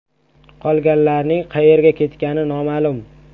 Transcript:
Qolganlarning qayerga ketgani noma’lum.